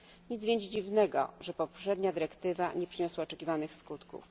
Nic więc dziwnego, że poprzednia dyrektywa nie przyniosła oczekiwanych skutków.